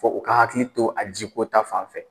Fo u ka hakili to a ji ko ta fanfɛ.